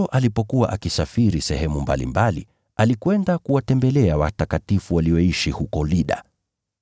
Petro alipokuwa akisafiri sehemu mbalimbali, alikwenda kuwatembelea watakatifu walioishi huko Lida.